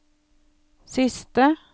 siste